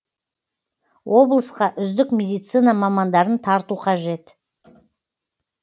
облысқа үздік медицина мамандарын тарту қажет